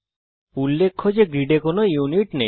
উল্লেখ্য যে গ্রিডে কোন ইউনিট নেই